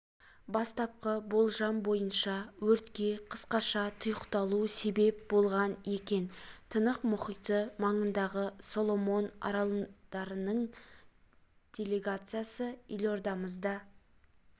бастапқы болжам бойынша өртке қысқаша тұйықталу себеп болған екен тынық мұхиты маңындағы соломон аралдарының делегациясы елордамызда